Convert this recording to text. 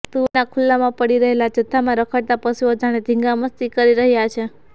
તુવેરના ખુલ્લામાં પડી રહેલા જથ્થામાં રખડતા પશુઓ જાણે ધીંગામસ્તી કરી રહ્યા છે